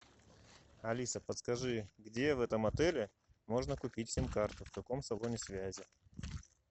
алиса подскажи где в этом отеле можно купить сим карту в каком салоне связи